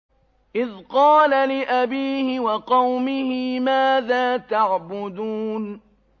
إِذْ قَالَ لِأَبِيهِ وَقَوْمِهِ مَاذَا تَعْبُدُونَ